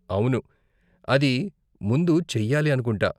అవును, అది ముందు చెయ్యాలి అనుకుంటా.